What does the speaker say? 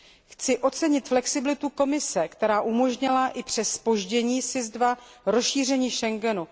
Chci ocenit flexibilitu Komise, která umožnila i přes zpoždění SIS II rozšíření Schengenu.